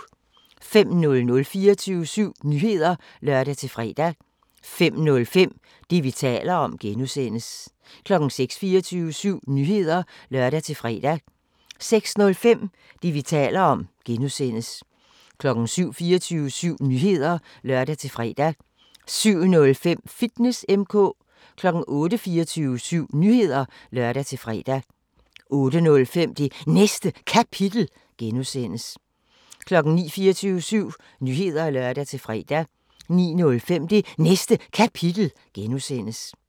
05:00: 24syv Nyheder (lør-fre) 05:05: Det, vi taler om (G) 06:00: 24syv Nyheder (lør-fre) 06:05: Det, vi taler om (G) 07:00: 24syv Nyheder (lør-fre) 07:05: Fitness M/K 08:00: 24syv Nyheder (lør-fre) 08:05: Det Næste Kapitel (G) 09:00: 24syv Nyheder (lør-fre) 09:05: Det Næste Kapitel (G)